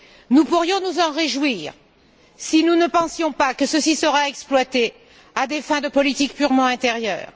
Nous pourrions nous en réjouir si nous ne pensions pas que ceci sera exploité à des fins de politique purement intérieure.